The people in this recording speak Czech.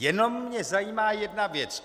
Jenom mě zajímá jedna věc.